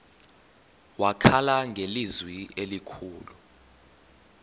wakhala ngelizwi elikhulu